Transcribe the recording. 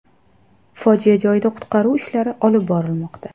Fojia joyida qutqaruv ishlari olib borilmoqda.